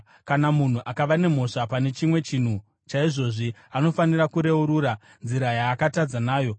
“ ‘Kana munhu akava nemhosva pane chimwe chaizvozvi anofanira kureurura nzira yaakatadza nayo